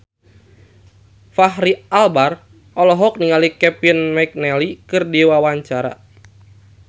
Fachri Albar olohok ningali Kevin McNally keur diwawancara